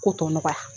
Ko tɔ nɔgɔya